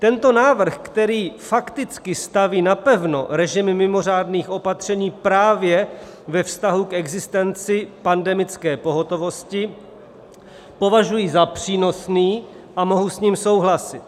Tento návrh, který fakticky staví napevno režim mimořádných opatření právě ve vztahu k existenci pandemické pohotovosti, považuji za přínosný a mohu s ním souhlasit.